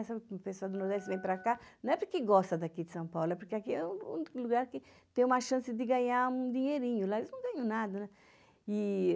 Essa pessoa do Nordeste vem para cá, não é porque gosta daqui de São Paulo, é porque aqui é o único lugar que tem uma chance de ganhar um dinheirinho, lá eles não ganham nada, né? E